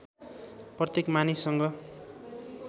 प्रत्येक मानिससँग